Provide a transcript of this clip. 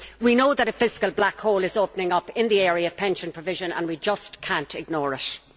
We know that a fiscal black hole is opening up in the area of pension provision and we just cannot ignore it.